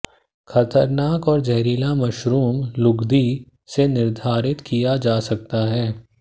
खतरनाक और जहरीला मशरूम लुगदी से निर्धारित किया जा सकता है